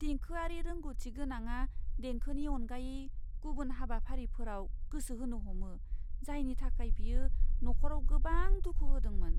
देंखोआरि रोंग'थि गोनाङा देंखोनि अनगायै गुबुन हाबाफारिफोराव गोसो होनो हमो, जायनि थाखाय बेयो नखराव गोबां दुखु होदोंमोन।